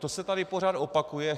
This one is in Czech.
To se tady pořád opakuje.